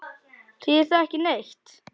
Þýðir það ekki neitt?